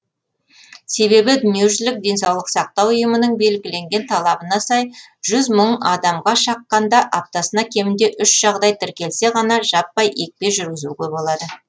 себебі дүниежүзілік денсаулық сақтау ұйымының белгіленген талабына сай жүз мың адамға шаққанда аптасына кемінде үш жағдай тіркелсе ғана жаппай екпе жүргізуге болады